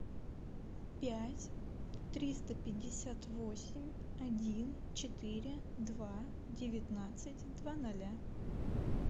пять триста пятьдесят восемь один четыре два девятнадцать два ноля